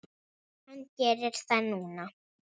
Hann gerir það núna.